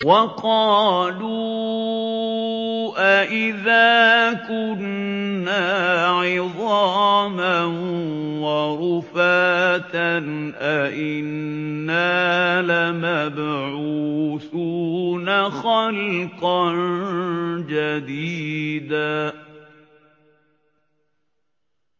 وَقَالُوا أَإِذَا كُنَّا عِظَامًا وَرُفَاتًا أَإِنَّا لَمَبْعُوثُونَ خَلْقًا جَدِيدًا